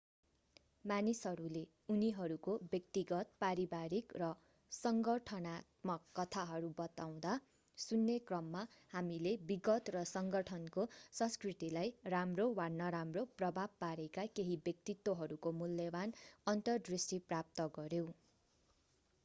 मानिसहरूले उनीहरूको व्यक्तिगत पारिवारिक र संगठनात्मक कथाहरू बताउँदा सुन्ने क्रममा हामीले विगत र संगठनको संस्कृतिलाई राम्रो वा नराम्रो प्रभाव पारेका केही व्यक्तित्वहरूको मूल्यवान अन्तरदृष्टि प्राप्त गर्यौं